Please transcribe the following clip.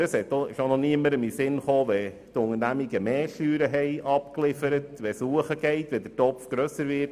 Aber es ist auch noch niemandem in den Sinn gekommen einzugreifen, wenn die Unternehmen mehr Steuern abgeliefert haben und der Topf dadurch grösser wird.